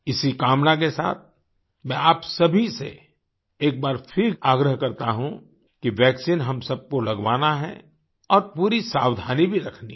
इसी कामना के साथ मैं आप सभी से एक बार फिर आग्रह करता हूँ कि वैक्सीन हम सब को लगवाना है और पूरी सावधानी भी रखनी है